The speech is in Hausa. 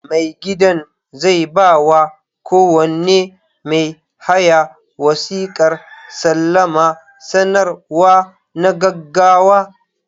Mai gidan zai ba wa kowane mai haya wasiƙar salama sanarwa na gaggawa.